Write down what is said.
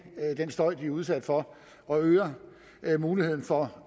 den støj de er udsat for og øger muligheden for at